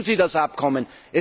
Lesen Sie das Abkommen!